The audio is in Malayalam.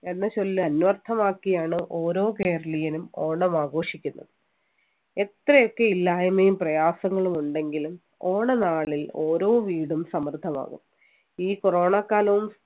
എന്ന ചൊല്ല് അന്വർഥമാക്കിയാണ് ഓരോ കേരളീയനും ഓണം ആഘോഷിക്കുന്നത് എത്രയൊക്കെ ഇല്ലായ്മയും പ്രയാസങ്ങളും ഉണ്ടെങ്കിലും ഓണ നാളിൽ ഓരോ വീടും സമൃദ്ധമാവും ഈ corona കാലവും